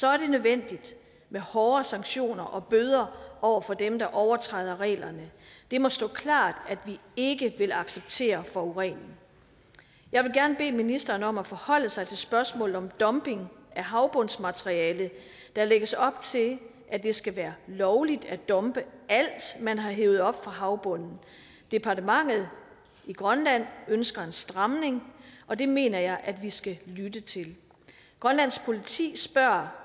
er nødvendigt med hårde sanktioner og bøder over for dem der overtræder reglerne det må stå klart at vi ikke vil acceptere forurening jeg vil gerne bede ministeren om at forholde sig til spørgsmålet om dumping af havbundsmateriale der lægges op til at det skal være lovligt at dumpe alt man har hevet op fra havbunden departementet i grønland ønsker en stramning og det mener jeg at vi skal lytte til grønlands politi spørger